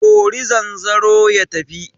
Kori zanzaro ya tafi!